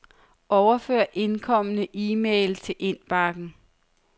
Overfør indkomne e-mail til indbakken.